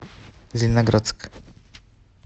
зеленоградск